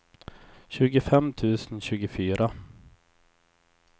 tjugofem tusen tjugofyra